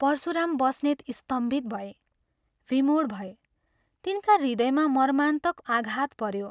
परशुराम बस्नेत स्तम्भित भए, विमूढ भए तिनका हृदयमा मर्मान्तक आघात पऱ्यो ।